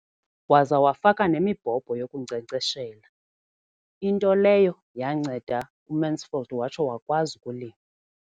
Waza wafaka nemibhobho yokunkcenkceshela, into leyo yanceda uMansfield watsho wakwazi ukulima.